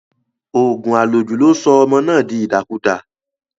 Òògùn àlòjù ló sọ ọmọ náà di ìdàkudà.